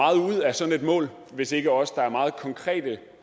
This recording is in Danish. sådan et mål hvis ikke også der er meget konkrete